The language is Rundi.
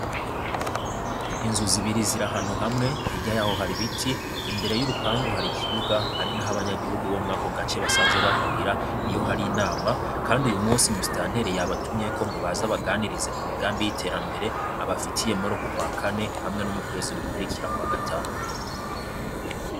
Inzu zibiri ziri ahantu hamwe, hirya yaho hari ibiti, imbere y'urupangu hari ikibuga ari n'aho abanyagihugu bo mw'ako gace basanzwe bahurira iyo hari inama, kandi uyu musi musitanteri yabatumyeko ngo baze abaganirize ku migambi y'iterambere abafitiye muri uku kwa kane hamwe no mu kwezi gukurikira kwa gatanu.